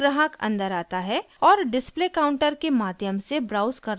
एक ग्राहक अंदर आता है और डिस्प्ले काउंटर के माध्यम से ब्राउज़ करना शुरू करता है